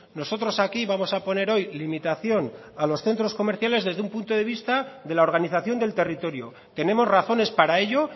nosotros aquí vamos a poner hoy limitación a los centros comerciales desde un punto de vista de la organización del territorio tenemos razones para ello